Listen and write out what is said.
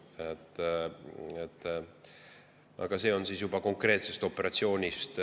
Aga tuleneb siis juba konkreetse operatsiooni kavast.